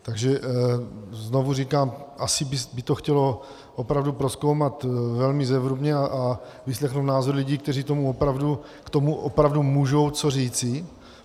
Takže znovu říkám, asi by to chtělo opravdu prozkoumat velmi zevrubně a vyslechnout názory lidí, kteří k tomu opravdu můžou co říci.